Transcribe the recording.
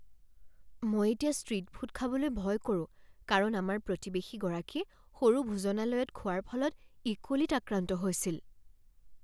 মই এতিয়া street food খাবলৈ ভয় কৰোঁ কাৰণ আমাৰ প্ৰতিৱেশীগৰাকীয়ে সৰু ভোজনালয়ত খোৱাৰ ফলত ইকোলিত আক্ৰান্ত হৈছিল।